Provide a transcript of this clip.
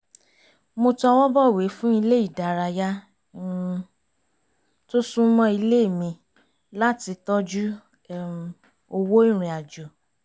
mo tọwọ́bọ̀wé fún ilé ìdárayá um tó súnmọ́ ilé mi láti tọ́jú um owó ìrìn àjò